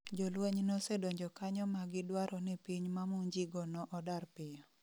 Jolweny nosedonjo kanyo ma gidwaro ni piny mamonjigo no odar piyo